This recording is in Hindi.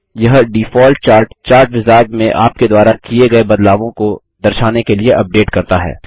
यह डिफ़ॉल्ट चार्ट चार्ट विज़ार्ड में आप के द्वारा किये गये बदलावों को दर्शाने के लिए अपडेट करता है